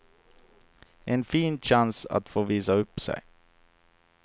En fin chans att få visa upp sig.